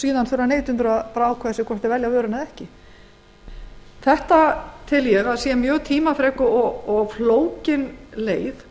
síðan þurfa neytendur að ákveða sig hvort þeir velja vöruna eða ekki það tel ég að sé mjög tímafrek og flókin leið